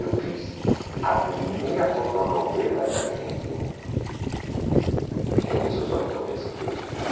Eu fiz a primeira fotonovela na Argentina, em esses oito meses que eu estive.